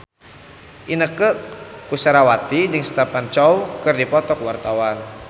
Inneke Koesherawati jeung Stephen Chow keur dipoto ku wartawan